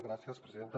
gràcies presidenta